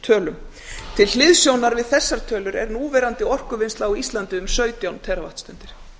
tölum til hliðsjónar við þessar tölur er núverandi orkuvinnsla á íslandi um sautján teravattstundir